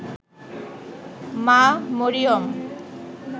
মা মরিয়ম